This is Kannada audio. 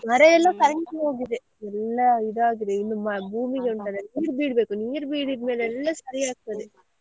ಮರ ಎಲ್ಲ ಕರಂಚಿ ಹೋಗಿದೆ ಎಲ್ಲ ಇದಾಗಿದೆ ಇನ್ನು ಭೂಮಿಗೆ ಉಂಟಲ್ಲ ಎಂತ ನೀರು ಬೀಳ್ಬೇಕು ನೀರು ಬೀಳಿದ್ ಮೇಲೆ ಎಲ್ಲ ಸರಿ ಆಗ್ತದೆ.